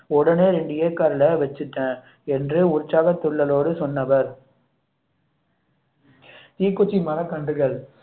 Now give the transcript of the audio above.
உடனே இரண்டு acre ல வச்சிட்டேன் என்று உற்சாகத்துள்ளலோடு சொன்னவர் தீக்குச்சி மரக்கன்றுகள்